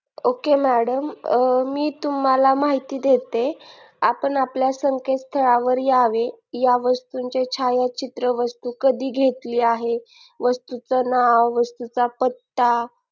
ok madam मी तुम्हाला माहिती देते आपण आपल्या संकेतस्थळावर यावे या वस्तूचे छायाचित्र वस्तू कधी घेतली आहे वस्तूचे नाव वस्तूचा पत्ता